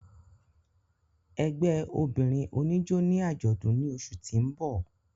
Ẹgbẹ obinrin onijó ni ajọdun ni oṣu ti n bọ.